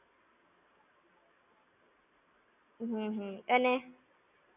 હમ્મ હા. અને,